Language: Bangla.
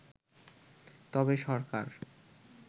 তবে সরকার